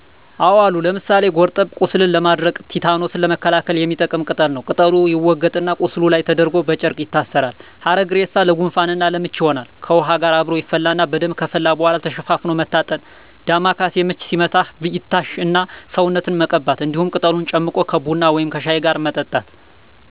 አዎ አሉ። ለምሳሌ ጎርጠብ፦ ቁስልን ለማድረቅና ቲታኖስን ለመከላከል የሚጠቅም ቅጠል ነው። ቅጠሉ ይወገጥ እና ቁስሉ ላይ ተደርጎ በጨርቅ ይታሰራል። ሀረግሬሳ፦ ለጉንፋን እና ለምች ይሆናል። ከውሃ ጋር አብሮ ይፈላና በደንብ ከፈላ በኃላ ተሸፋፍኖ መታጠን ዳማከሴ፦ ምች ሲመታህ ይታሽ እና ሰውነትን መቀባት እንዲሁም ቅጠሉን ጨምቆ ከቡና ወይም ከሻይ ጋር መጠጣት።